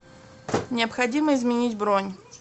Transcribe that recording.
необходимо изменить бронь